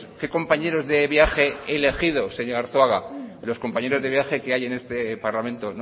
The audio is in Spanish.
qué compañeros de viaje he elegido señor arzuaga los compañeros de viaje que hay en este parlamento